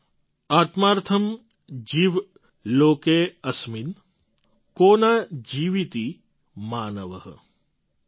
आत्मार्थम् जीव लोके अस्मिन् को न जीविति मानव